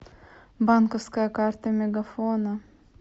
банковская карта мегафона